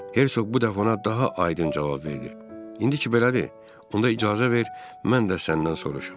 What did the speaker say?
Hersoq bu dəfə ona daha aydın cavab verdi: İndi ki belədir, onda icazə ver mən də səndən soruşum.